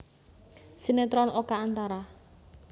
Sinetron Oka Antara